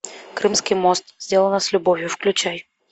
крымский мост сделано с любовью включай